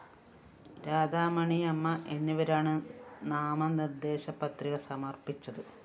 രാധാമണിയമ്മ എന്നിവരാണ് നാമനിര്‍ദ്ദേശപത്രിക സമര്‍പ്പിച്ചത്